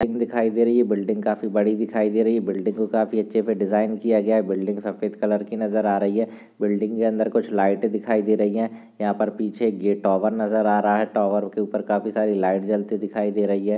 Building दिखाई दे रही है बिल्डिंग काफी बड़ी दिखाई दे रही है बिल्डिंग को काफी अच्छे से डिजाईन किया गया है बिल्डिंग सफ़ेद कलर कि नजर आ रही है बिल्डिंग के अंदर कुछ लाइटे दिखाई दे रही है यहाँ पर पीछे ये टॉवर नजर आ रहा है टावर के ऊपर काफी सारी लाइट जलती दिखाई दे रही है।